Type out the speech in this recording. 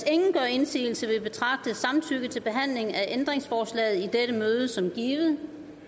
indsigelse vil jeg betragte samtykke til behandling af ændringsforslagene i dette møde som givet